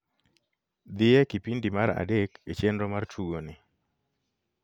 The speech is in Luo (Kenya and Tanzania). dhie kipindi mar adek e chenro mar tugo ni